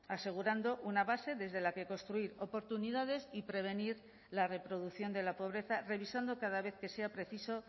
asegurando una base desde la que construir oportunidades y prevenir la reproducción de la pobreza revisando cada vez que sea preciso